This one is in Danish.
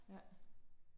Ja